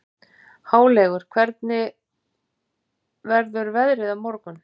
Háleygur, hvernig verður veðrið á morgun?